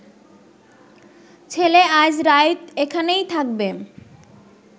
ছেলে আইজ রাইত এখানেই থাকবে